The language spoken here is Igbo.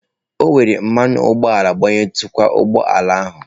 O were mmanụ ụgbọala gbayitukwa ụgbọ ala ahụ.